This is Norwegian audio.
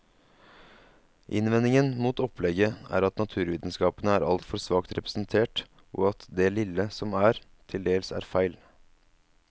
Innvendingen mot opplegget er at naturvitenskapene er altfor svakt representert, og at det lille som er, til dels er feil.